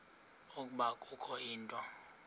ukuba kukho into